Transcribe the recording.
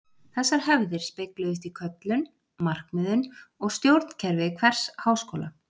Þessar hefðir spegluðust í köllun, markmiðum og stjórnkerfi hvers háskóla.